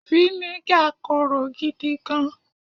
viniga Koro gidi gan